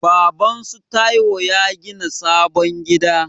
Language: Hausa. Babansu Taiwo ya gina sabon gida.